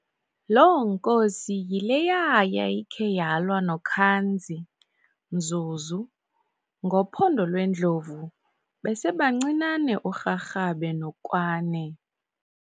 Loo nkosi yileya yayikhe yalwa noKhanzi, mzuzu, ngophondo lwendlovu, besebancinane uRharhabe noKwáne.